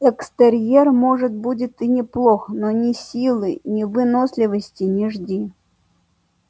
экстерьер может будет и неплох но ни силы ни выносливости не жди